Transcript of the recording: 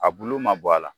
A bulu ma bɔ a la